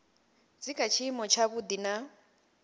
dzi kha tshiimo tshavhuḓi na